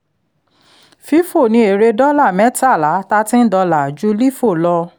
fifo ni èrè dọ́là mẹ́tàlá thirteen dollar ju lifo lọ